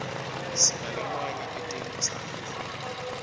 sinalamanye etelutsandvo